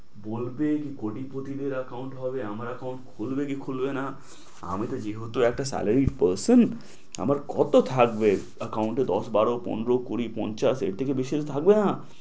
বলবে কোটিপতিদের account হবে আমার account খুলবে কি খুলবে না আমি তো যেহেতু একটা salary percent আমার কত থাকবে account এ দশ, বারো, পনেরো, কুড়ি, পঞ্চাশ এর থেকে বেশি তো থাকবে না।